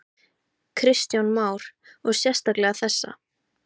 Kristján Már: Og sérstaklega þessa?